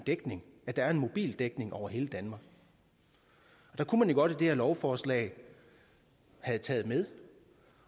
at der er mobildækning over hele danmark der kunne man godt i det her lovforslag have taget med